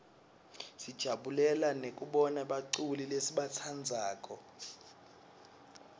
sijabulela nekubona baculi lesibatsandzako